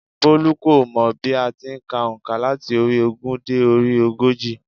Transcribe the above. Bólú kò mọ̀ bí a ti n ka ònkà láti orí i ogún dé orí ogójì